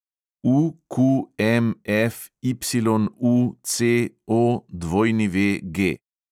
UQMFYUCOWG